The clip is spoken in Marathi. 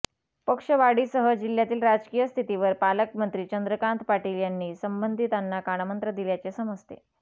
पक्षवाढीसह जिल्ह्यातील राजकीय स्थितीवर पालकमंत्री चंद्रकांत पाटील यांनी संबंधितांना कानमंत्र दिल्याचे समजते